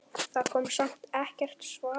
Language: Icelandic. Það kom samt ekkert svar.